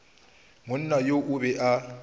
monna yo o be a